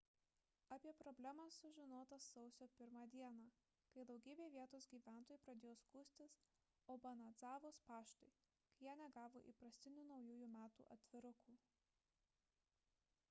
apie problemą sužinota sausio 1 d kai daugybė vietos gyventojų pradėjo skųstis obanadzavos paštui kad jie negavo įprastinių naujųjų metų atvirukų